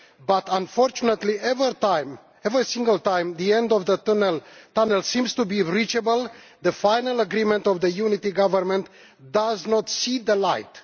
But unfortunately every single time the end of the tunnel seems to be reachable the final agreement on the unity government does not see the light.